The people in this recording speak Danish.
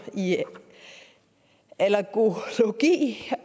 i allergologi